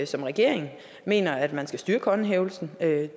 som regering mener at man skal styrke håndhævelsen